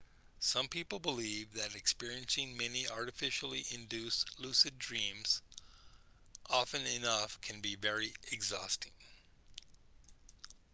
some people believe that experiencing many artificially induced lucid dreams often enough can be very exhausting